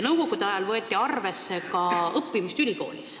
Nõukogude ajal võeti arvesse ka õppimist ülikoolis.